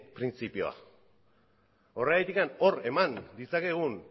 printzipioa horregatik hor eman ditzakegun